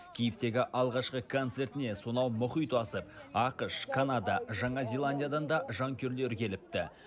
киевтегі алғашқы концертіне сонау мұхит асып ақш канада жаңа зеландиядан да жанкүйерлері келіпті